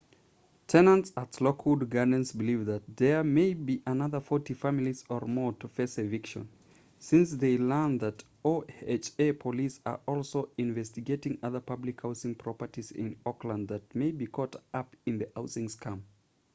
tenants at lockwood gardens believe that there may be another 40 families or more to face eviction since they learned that oha police are also investigating other public housing properties in oakland that may be caught up in the housing scam